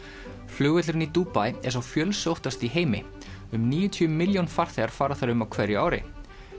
flugvöllurinn í Dubai er sá fjölsóttasti í heimi um níutíu milljón farþegar fara þar um á hverju ári